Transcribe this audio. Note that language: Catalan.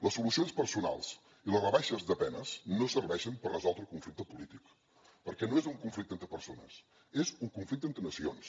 les solucions personals i les rebaixes de penes no serveixen per resoldre un conflicte polític perquè no és un conflicte entre persones és un conflicte entre nacions